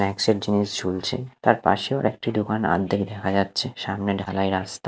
এক সেট জিনিস ঝুলছে তার পাশেও একটি দোকান আদ্ধেক দেখা যাচ্ছে সামনে ঢালাই রাস্তা।